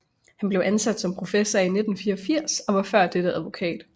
Han blev ansat som professor i 1984 og var før dette advokat